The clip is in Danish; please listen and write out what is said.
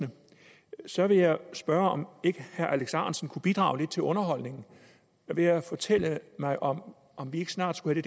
så vil jeg spørge om ikke herre alex ahrendtsen kunne bidrage lidt til underholdningen ved at fortælle mig om vi ikke snart skulle